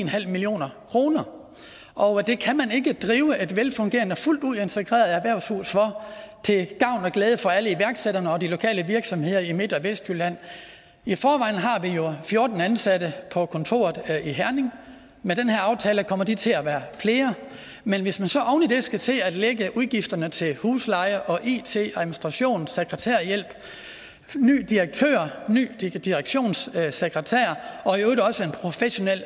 million kroner og det kan man ikke drive et velfungerende fuldt ud integreret erhvervshus for til gavn og glæde for alle iværksætterne og de lokale virksomheder i midt og vestjylland i forvejen har vi jo fjorten ansatte på kontoret i herning med den her aftale kommer de til at være flere men hvis man så oven i det skal til at lægge udgifterne til husleje it administration sekretærhjælp ny direktør ny direktionssekretær og i øvrigt også en professionel